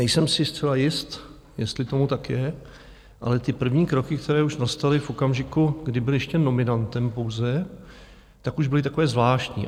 Nejsem si zcela jist, jestli tomu tak je, ale ty první kroky, které už nastaly v okamžiku, kdy byl ještě nominantem pouze, tak už byly takové zvláštní.